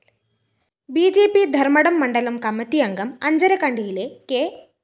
B J P Dharmadam മണ്ഡലം കമ്മറ്റിയംഗം അഞ്ചരക്കണ്ടിയിലെ കെ